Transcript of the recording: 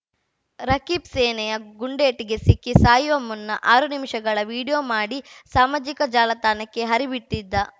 ರಕೀಬ್‌ ಸೇನೆಯ ಗುಂಡೇಟಿಗೆ ಸಿಕ್ಕಿ ಸಾಯುವ ಮುನ್ನ ಆರು ನಿಮಿಷಗಳ ವಿಡಿಯೋ ಮಾಡಿ ಸಾಮಾಜಿಕ ಜಾಲತಾಣಕ್ಕೆ ಹರಿಬಿಟ್ಟಿದ್ದ